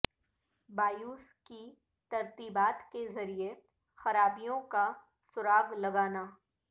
BIOS کی ترتیبات کے ذریعے خرابیوں کا سراغ لگانا